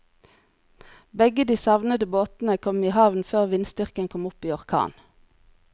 Begge de savnede båtene kom i havn før vindstyrken kom opp i orkan.